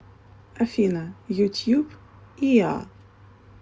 афина ютьюб иа